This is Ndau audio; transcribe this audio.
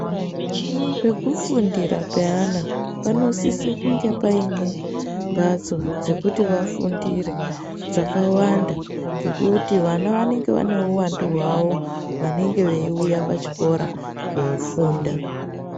Pekufundira peana panosisa kunge Paine mbatso dzekuti vafundire dzakawanda ngekuti vana vanenge vane uwandu hwawo vanenge veuya pachikora kofunda.